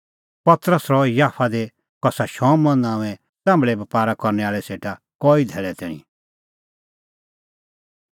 पतरस रहअ याफा दी कसा शमौन नांओंऐं च़ाम्भल़े बपारा करनै आल़ै सेटा कई धैल़ै तैणीं